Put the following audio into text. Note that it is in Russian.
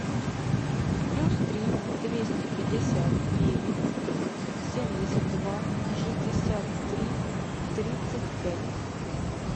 плюс три двести пятьдесят девять семьдесят два шестьдесят три тридцать пять